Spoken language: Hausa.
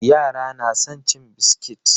Yara na son cin biskit.